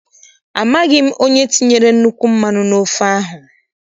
Amaghị m onye tinyere nnukwu mmanụ n' ofe ahụ.